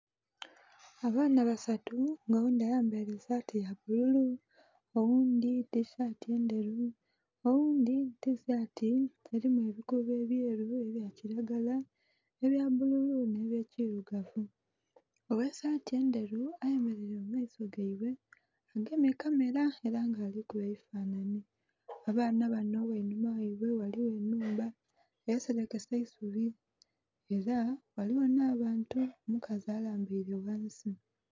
Abaana basatu nga oghundhi ayambaire esaati eya bbululu oghundhi tisaati ndheru, oghundhi tisaati erimu ebikuubo ebyeru nhe bya kilagala, nhe bya bbululu nhe bye kirugavu. Oghe saati endheru aye mereire mu maiso gaibwe agemye kamera era nga ali kuba ebifananhi. Abaana banho ghainhuma ghaibwe ghaligho enhumba eserekese nhe'isubi era ghaligho nha bantu omukazi alambaire ghansi.